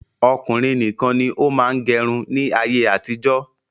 Ọkùnrin nìkan ni ó máa ń gẹrun ni ayé àtijọ́.